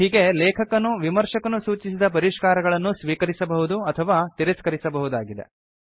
ಹೀಗೆ ಲೇಖಕನು ವಿಮರ್ಶಕನು ಸೂಚಿಸಿದ ಪರಿಷ್ಕಾರಗಳನ್ನು ಸ್ವೀಕರಿಸಬಹುದು ಅಥವಾ ತಿರಸ್ಕರಿಸಬಹುದಾಗಿದೆ